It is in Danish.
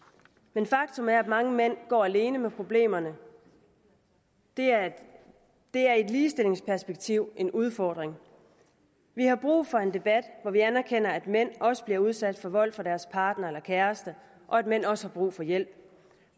men faktum er at mange mænd går alene med problemerne det er det er i et ligestillingsperspektiv en udfordring vi har brug for en debat hvor vi anerkender at mænd også bliver udsat for vold fra deres partner eller kæreste og at mænd også har brug for hjælp